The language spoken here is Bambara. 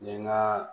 N ye n ka